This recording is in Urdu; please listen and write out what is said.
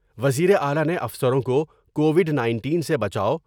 وزیر اعلی نے افسروں کو کووڈ نٔینٹین سے بچاو۔